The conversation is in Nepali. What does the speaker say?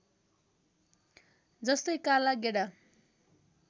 जस्तै काला गेडा